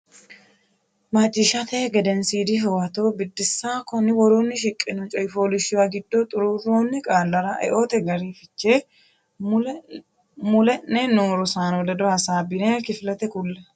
Macciishshate Gedensiidi Huwato Biddissa Konni woroonni shiqqino coy fooliishshuwa giddo xuruurroonni qaallara eote gari fiche mule’ne noo rosaano ledo hasaabbine kifilete kulle.